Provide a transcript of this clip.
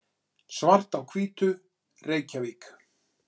Svart á hvítu, Reykjavík.